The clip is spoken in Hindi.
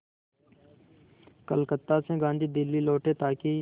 कलकत्ता से गांधी दिल्ली लौटे ताकि